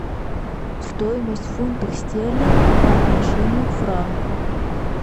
стоимость фунтов стерлингов по отношению к франку